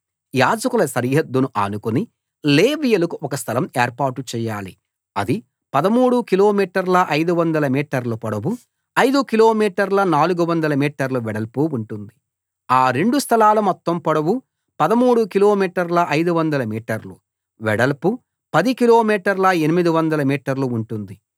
యాజకుల సరిహద్దును ఆనుకుని లేవీయులకు ఒక స్థలం ఏర్పాటు చేయాలి అది 13 కిలోమీటర్ల 500 మీటర్ల పొడవు ఐదు కిలోమీటర్ల 400 మీటర్ల వెడల్పు ఉంటుంది ఆ రెండు స్థలాల మొత్తం పొడవు 13 కిలోమీటర్ల 500 మీటర్లు వెడల్పు పది కిలో మీటర్ల 800 మీటర్లు ఉంటుంది